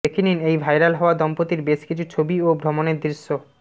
দেখে নিন এই ভাইরাল হওয়া দম্পতির বেশ কিছু ছবি ও ভ্রমণের দৃশ্য